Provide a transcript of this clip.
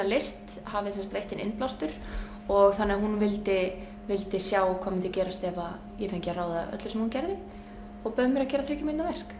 list hafi sem sagt veitt henni innblástur og þannig að hún vildi vildi sjá hvað myndi gerast ef ég fengi að ráða öllu sem hún gerði og bauð mér að gera þriggja mínútna verk